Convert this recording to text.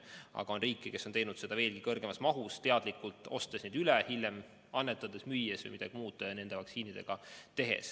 Aga on riike, kes on teinud seda veelgi suuremas mahus, teadlikult ostes neid üle, et hiljem annetada, müüa või midagi muud nende vaktsiinidega teha.